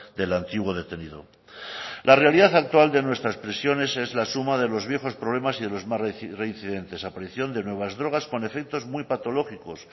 del antiguo detenido la realidad actual de nuestras prisiones es la suma de los viejos problemas y de los más reincidentes aparición de nuevas drogas con efectos muy patológicos